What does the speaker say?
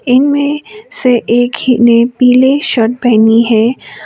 इनमें से एक ही ने पीले शर्ट पहनी है।